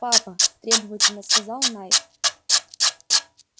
папа требовательно сказал найд